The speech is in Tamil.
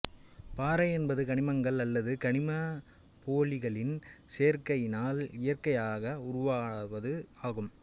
பாறை என்பது கனிமங்கள் அல்லது கனிமப்போலிகளின் சேர்க்கையினால் இயற்கையாக உருவாவது ஆகும்